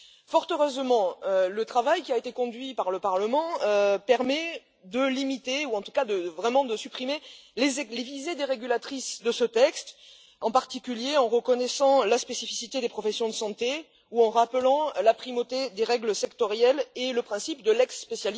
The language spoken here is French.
Fort heureusement, le travail qui a été conduit par le Parlement permet de limiter, voire de supprimer les visées dérégulatrices de ce texte, en particulier en reconnaissant la spécificité des professions de santé ou en rappelant la primauté des règles sectorielles et le principe de lex specialis qui doit continuer à s'appliquer.